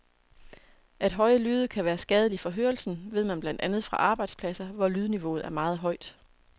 At høje lyde kan være skadelige for hørelsen, ved man blandt andet fra arbejdspladser, hvor lydniveauet er meget højt.